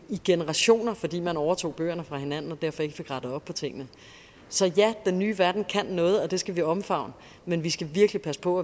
generationer fordi man overtog bøgerne fra hinanden og derfor ikke fik rettet op på tingene så ja den nye verden kan noget og det skal vi omfavne men vi skal virkelig passe på